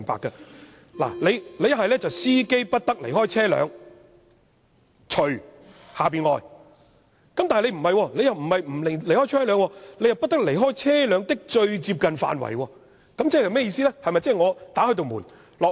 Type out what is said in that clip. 如果內容是："司機不得離開車輛，除下面所列外"，但卻不是這樣寫，而是"不得離開車輛的最接近範圍"，這是甚麼意思呢？